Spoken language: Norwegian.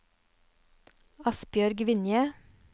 Asbjørg Vinje